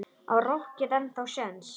Á rokkið ennþá séns?